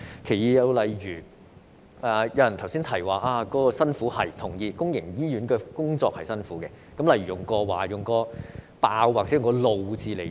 第二，有議員提到公營醫院的醫生很辛苦，這點我同意，公營醫院的工作很辛苦，我會以"爆"和"怒"字形容。